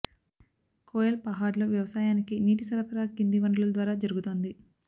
కోయల్ పహాడ్లో వ్యవసాయానికి నీటి సరఫరా కింది వనరుల ద్వారా జరుగుతోంది